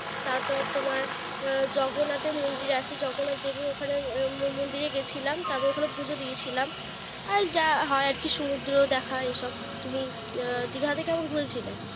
তারপরে তোমার, আহ জগন্নাথের মন্দির আছে। জগন্নাথ দেবের ওখেন মন্দিরে গিয়েছিলাম। তারপর ওখানে পুজো দিয়েছিল। আর যা হয় আরকি সমুদ্র দেখা এইসব। তুমি দিঘাতে কেমন ঘুরেছিলে?